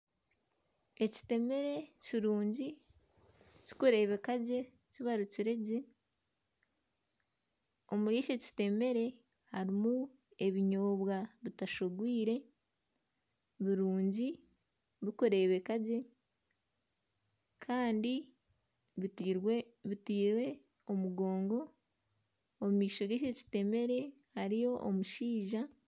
Ekitemere kirungi kikurebekagye kibarukiregye, omuri ekyo kitemere harimu ebinyoobwa bitashuubwire birungi bikurebekagye Kandi bitairwe omugongo . Omu maisho gekyo kitemere hariyo omushaija.